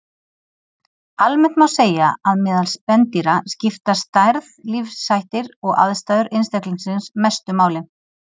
Almennt má segja að meðal spendýra skipta stærð, lífshættir og aðstæður einstaklingsins mestu máli.